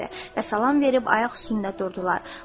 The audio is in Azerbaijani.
Və salam verib ayaq üstündə durdular.